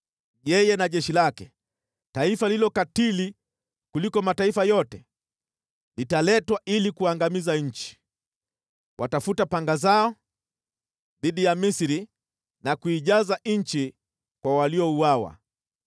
Yeye na jeshi lake, taifa lililo katili kuliko mataifa yote, litaletwa ili kuangamiza nchi. Watafuta panga zao dhidi ya Misri na kuijaza nchi kwa waliouawa.